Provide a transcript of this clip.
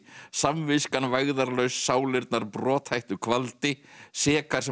samviskan vægðarlaus sálirnar brothættu kvaldi sekar sem